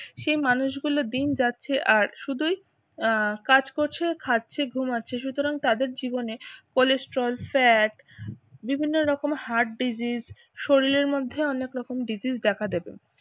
সে মানুষগুলো দিন যাচ্ছে আর শুধুই আহ কাজ করছে খাচ্ছে ঘুমাচ্ছে সুতরাং তাদের জীবনে cholesterol, fat বিভিন্ন রকম heart disease শরীরের মধ্যে অনেক রকম disease দেখা দেবে।